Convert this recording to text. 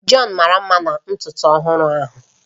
John mara mma na ntutu ọhụrụ ahụ